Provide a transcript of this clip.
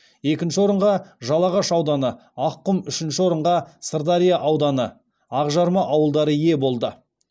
екінші орынға жалағаш ауданы аққұм үшінші орынға сырдария ауданы ақжарма ауылдары ие болды